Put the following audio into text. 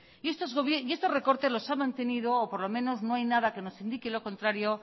y estos recortes los ha mantenido o por lo menos no hay nada que nos indique lo contrario